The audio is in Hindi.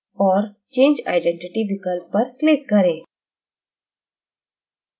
और change identity विकल्प पर click करें